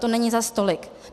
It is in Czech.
To není zas tolik.